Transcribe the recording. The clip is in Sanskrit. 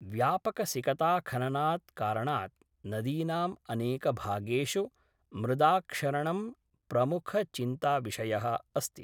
व्यापकसिकताखननात् कारणाद् नदीनाम् अनेकभागेषु मृदाक्षरणं प्रमुखचिन्ताविषयः अस्ति।